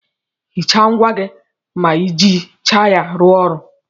Hicha ngwá gị ma ijicha ya ruo ọrụ.